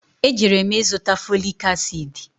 E jere m ịzụta foliki asịdị